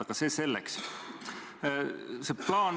Aga see selleks.